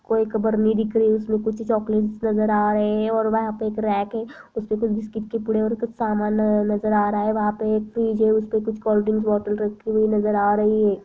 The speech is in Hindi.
कुछ एक बरनी दिख रही है उसमें कुछ चॉकलेट नज़र आ रहे और वहां पर एक रैक है उसमें कुछ बिस्किट के पूड़े और सामान रखा हुआ नजर आ रहा है और वहाँ पे एक फ्रिज है उसमें कुछ कोल्ड्रिंक्स बोतल रखी हुई नज़र आ रही है।